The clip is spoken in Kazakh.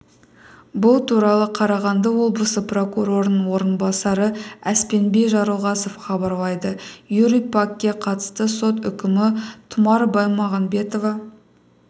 бұл туралы қарағанды облысы прокурорының орынбасары әспенби жарылғасов хабарлады юрий пакке қатысты сот үкімі тұмар бимағанбетова